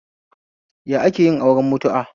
Ya akeyin aure mutu'a?